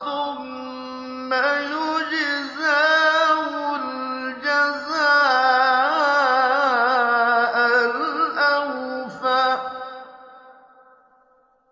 ثُمَّ يُجْزَاهُ الْجَزَاءَ الْأَوْفَىٰ